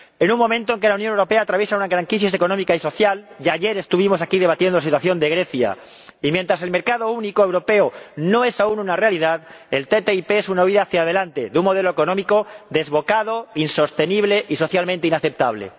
En un momento en el que la Unión Europea atraviesa una gran crisis económica y social —ya ayer estuvimos aquí debatiendo la situación de Grecia— y mientras el mercado único europeo no es aún una realidad, la ATCI es una huida hacia delante de un modelo económico desbocado, insostenible y socialmente inaceptable.